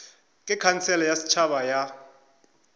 ke khansele ya setšhaba ya